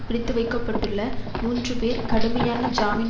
பிடித்துவைக்கப்பட்டுள்ள மூன்று பேர் கடுமையான ஜாமீன்